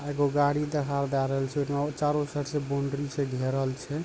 एगो गाड़ी देहां जा रहल छे नौ चारो साइड से बाउंड्री से घेरल छै।